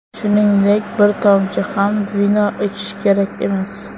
Shuningdek, bir tomchi ham vino ichish kerak emas.